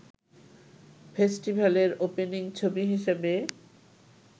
ফেস্টিভালের opening ছবি হিসেবে